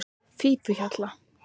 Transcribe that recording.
Fífuhjalla